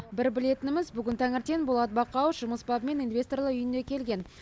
бір білетініміз бүгін таңертең болат бақауов жұмыс бабымен инвесторлар үйіне келген